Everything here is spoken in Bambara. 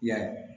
I y'a ye